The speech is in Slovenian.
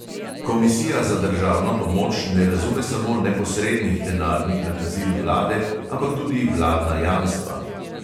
Komisija za državno pomoč ne razume samo neposrednih denarnih nakazil vlade, ampak tudi vladna jamstva.